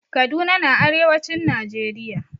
Kaduna na arewacin najeriya